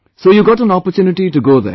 So you got an opportunity to go there